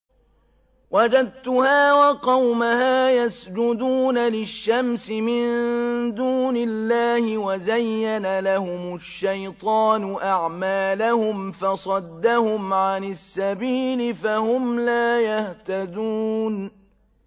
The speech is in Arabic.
وَجَدتُّهَا وَقَوْمَهَا يَسْجُدُونَ لِلشَّمْسِ مِن دُونِ اللَّهِ وَزَيَّنَ لَهُمُ الشَّيْطَانُ أَعْمَالَهُمْ فَصَدَّهُمْ عَنِ السَّبِيلِ فَهُمْ لَا يَهْتَدُونَ